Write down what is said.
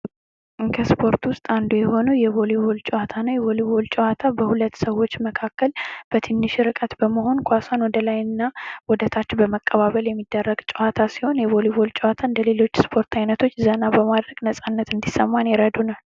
ከስፖርት ውስጥ አንዱ የሆነው የቦሊቦል ጨዋታ ነው ። የቦሊቦል ጨዋታ በሁለት ሰዎች መካከል በትንሽ ርቀት በመሆን ኳሷን ወደ ላይ እና ወደ ታች በመቀባበል የሚደረግ ጨዋታ ሲሆን የቦሊቦል ጨዋታ እንደ ሌሎች የስፖርት አይነቶች ዘና በማድረግ ነፃነት እንዲሰማን ያረዱናል ።